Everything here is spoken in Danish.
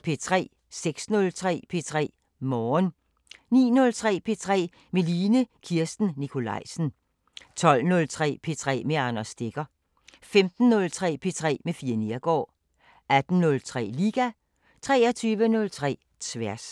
06:03: P3 Morgen 09:03: P3 med Line Kirsten Nikolajsen 12:03: P3 med Anders Stegger 15:03: P3 med Fie Neergaard 18:03: Liga 23:03: Tværs